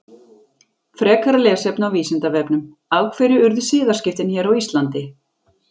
Frekara lesefni á Vísindavefnum: Af hverju urðu siðaskiptin hér á Íslandi?